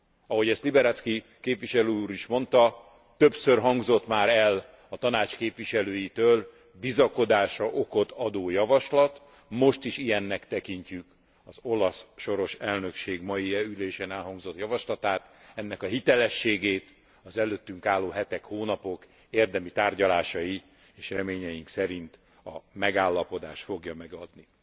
Ahogy ezt Liberadzki képviselő úr is mondta, többször hangzott már el a Tanács képviselőitől bizakodásra okot adó javaslat, most is ilyennek tekintjük az olasz soros elnökség mai ülésén elhangzott javaslatát, ennek a hitelességét az előttünk álló hetek, hónapok érdemi tárgyalásai és reményeink szerint a megállapodás fogja megadni.